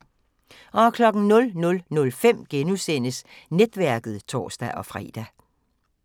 00:05: Netværket *(tor-fre)